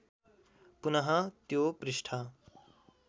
पुनः त्यो पृष्ठ